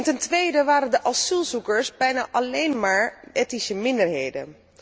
Ten tweede waren de asielzoekers bijna alleen maar etnische minderheden.